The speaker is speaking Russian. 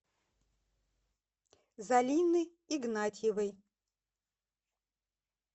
залины игнатьевой